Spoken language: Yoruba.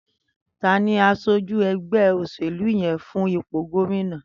Tàní àṣójú ẹgbẹ óṣélú yèn fún ipó góminà?